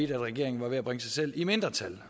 regeringen var ved at bringe sig selv i mindretal